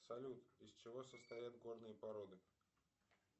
салют из чего состоят горные породы